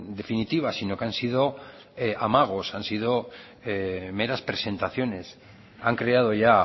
definitiva sino que han sido amagos han sido meras presentaciones han creado ya